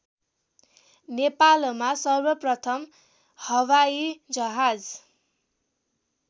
नेपालमा सर्वप्रथम हवाइजहाज